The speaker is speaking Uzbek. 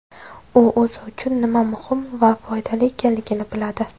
U o‘zi uchun nima muhim va foydali ekanligini biladi”.